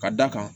Ka d'a kan